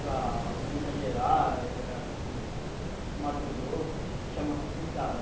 Para Minas Gerais, ah Mato Grosso, chama-se pintado.